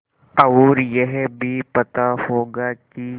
और यह भी पता होगा कि